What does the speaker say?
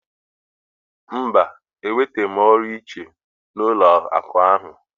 Mba, enwetaghị m ọrụ nche n'ụlọakụ ahụ.